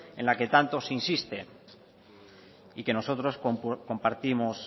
en la que tanto se insiste y que nosotros compartimos